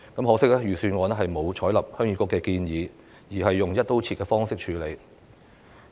可惜，預算案並沒有採納鄉議局的建議，而是採用"一刀切"的方式處理。